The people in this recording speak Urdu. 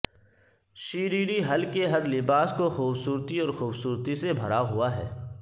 شیریری ہل کے ہر لباس کو خوبصورتی اور خوبصورتی سے بھرا ہوا ہے